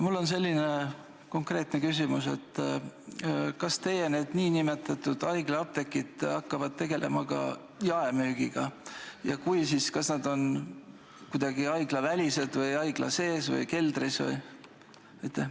Mul on selline konkreetne küsimus: kas need nn haiglaapteegid hakkavad tegelema ka jaemüügiga ja kui hakkavad, siis kas nad on kuidagi haiglavälised või asuvad haigla sees, näiteks keldris?